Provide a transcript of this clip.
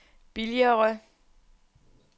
billigere